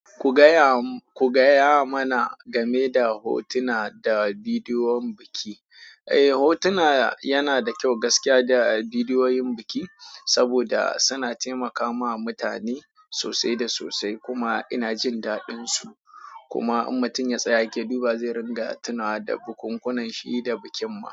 Ku gaya mana game da hotuna da bidiyoyin biki. Eh, hotuna yana da kyau gaskiya da bidiyoyin biki, saboda suna taimaka ma mutane sosai da sosai. Kuma ina jin daɗin su. Kuma in mutum ya tsaya yake duba, zai ringa tuna da bukunkunan shi da bikin ma.